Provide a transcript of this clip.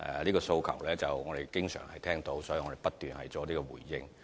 這些訴求我們經常聽到，所以我們不斷作出回應。